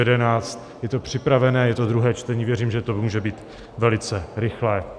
Je to připravené, je to druhé čtení, věřím, že to může být velice rychlé.